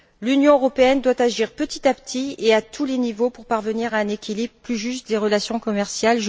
L'Union européenne doit agir petit à petit et à tous les niveaux pour parvenir à un équilibre plus juste des relations commerciales.